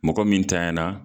Mɔgɔ min tanɲanna